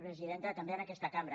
presidenta també en aquesta cambra